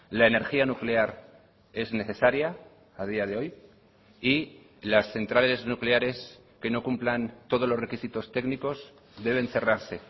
la energía nuclear es necesaria a día de hoy y las centrales nucleares que no cumplan todos los requisitos técnicos deben cerrarse